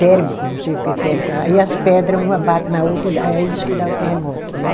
térmico, não sei o que térmico, aí as pedra uma bate na outra e dá e é isso que dá o terremoto, né?